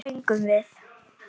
Hvað fengum við?